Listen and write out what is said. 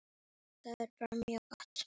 Þetta er bara mjög gott.